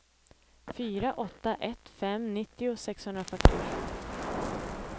fyra åtta ett fem nittio sexhundrafyrtiosju